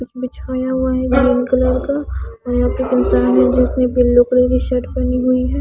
कुछ बिछाया हुआ है ब्राउन कलर का और यहां पे एक इंसान है जिसने बिल्लू कलर की शर्ट पहनी हुई है।